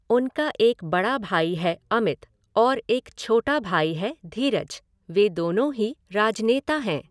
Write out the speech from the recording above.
उनका एक बड़ा भाई है अमित और एक छोटा भाई है धीरज, वे दोनों ही राजनेता हैं।